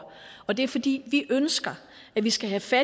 og det er fordi vi ønsker at vi skal se